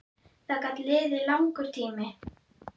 Það gat liðið langur tími.